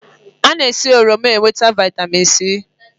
A na esi n'oroma enweta Vị́tamị́n C